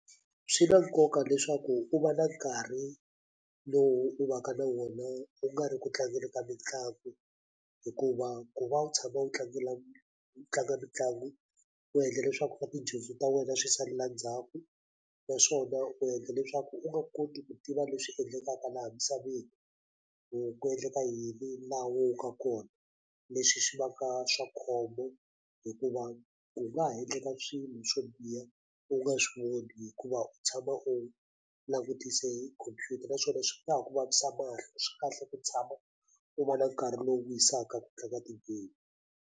Swi na nkoka leswaku u va na nkarhi lowu u va ka na wona u nga ri ku tlangeni ka mitlangu hikuva ku va u tshama u tlangela u tlanga mitlangu u endla leswaku swa tidyondzo ta wena swi salela ndzhaku naswona u endla leswaku u nga koti ku tiva leswi endlekaka laha misaveni ku ku endleka yini laha we u nga kona leswi swi vaka swa khombo hikuva u nga endleka swilo swo biha u nga swi voni hikuva u tshama u langutise hi khompyuta naswona swi nga ku vavisa mahlo swikahle ku tshama u va na nkarhi lowu wisaka ku tlanga ti-game.